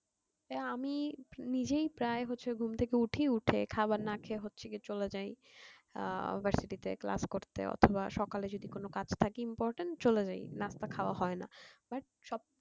আমি নিজেই প্রায় হচ্ছে ঘুম থেকে উঠি উঠে খাওয়া না খেয়ে হচ্ছে কি চলে যাই আহ university তে class করতে অথবা সকালে যদি কোনো কাজ থাকে important চলে যাই নাস্তা খাওয়া হয়না but সব